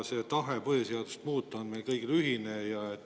Tahe põhiseadust muuta on meil kõigil ühine.